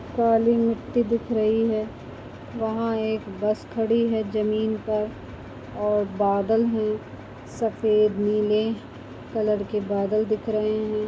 काली मिट्टी दिख रही हैं वहाँ एक बस खड़ी हैं जमीन पर और बादल हैं सफ़ेद नीले कलर के बादल दिख रहे हैं।